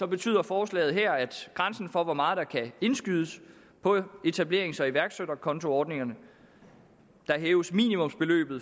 betyder forslaget her at grænsen for hvor meget der kan indskydes på etablerings og iværksætterkontoordningerne hæves